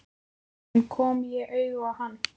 En kom ég auga á hann?